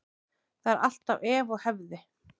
Það er alltaf ef og hefði.